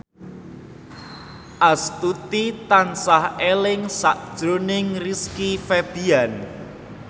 Astuti tansah eling sakjroning Rizky Febian